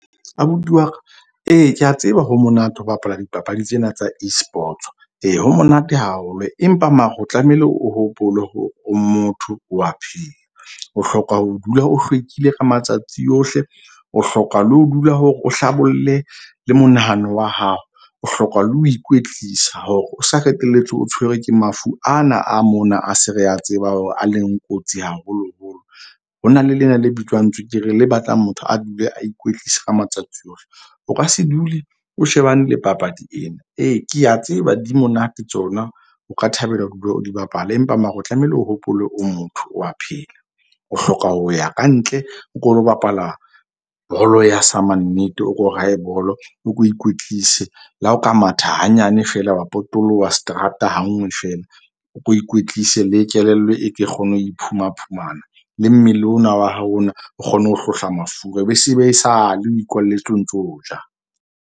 Abuti wa ka ee, ke a tseba ho monate ho bapala dipapadi tsena tsa Esports. Ee ho monate haholo. Empa mare o tlamehile o hopole hore o motho o a pheha, o hloka ho dula o hlwekile ka matsatsi ohle, o hloka le ho dula hore o hlabolle le monahano wa hao, o hloka le ho ikwetlisa hore o sa qetelletse o tshwerwe ke mafu ana a mona. A se re a tseba hore a leng kotsi haholoholo. Ho na le lena le bitswang tswekere le batlang motho a dule a ikwetlisa ka matsatsi ohle. O ka se dule o shebane le papadi ena ee, ke a tseba di monate tsona, o ka thabela ho dula o di bapala. Empa mara o tlamehile o hopole o motho wa pheha o hloka ho ya kantle, o ko lo bapala bolo ya samannete. O ko raye bolo, o ko o ikwetlise le ha o ka matha hanyane fela wa potoloha seterata ha nngwe fela o ko ikwetlise le kelello. E ke e kgone ho iphuma phumana le mmele ona wa hao ona o kgone ho hlohla mafura e be se e sale o ikwalletse o ntso ja.